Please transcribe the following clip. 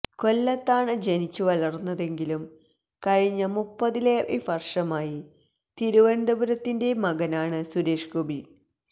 കൊല്ലത്താണ് ജനിച്ചുവളർന്നതെങ്കിലും കഴിഞ്ഞ മുപ്പതിലേറെ വർഷമായി തിരുവനന്തപുരത്തിന്റെ മകനാണ് സുരേഷ് ഗോപി